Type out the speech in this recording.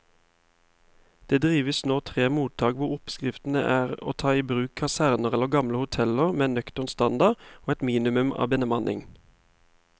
Det driver nå tre mottak hvor oppskriften er å ta i bruk kaserner eller gamle hoteller med nøktern standard og et minimum av bemanning.